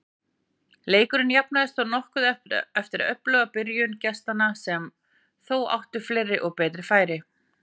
Leikurinn jafnaðist þó nokkuð eftir öfluga byrjun gestanna sem þó áttu fleiri og betri færi.